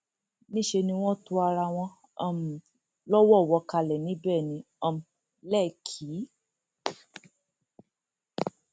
níṣẹ ni wọn to ara wọn um lọwọọwọ kalẹ níbẹ ní um lẹkì